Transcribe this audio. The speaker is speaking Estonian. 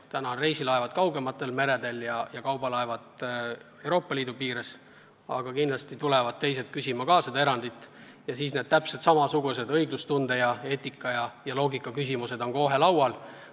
Tal on reisilaevad kaugematel meredel ja kaubalaevad Euroopa Liidu piires, aga kindlasti tulevad teised ka küsima seda erandit ja siis needsamad õiglustunde, eetika ja loogika küsimused on kohe laual.